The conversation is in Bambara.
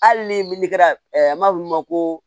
Hali ni an b'a f'olu ma ko